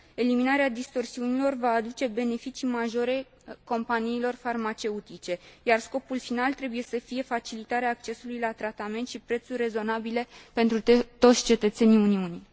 Eliminarea distorsiunilor va aduce beneficii majore companiilor farmaceutice, iar scopul final trebuie să fie facilitarea accesului la tratament și prețuri rezonabile pentru toți cetățenii Uniunii.